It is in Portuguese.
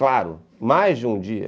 Claro, mais de um dia.